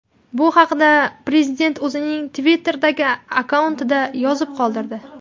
Bu haqda prezident o‘zining Twitter’dagi akkauntida yozib qoldirdi .